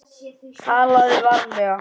TALAÐU VARLEGA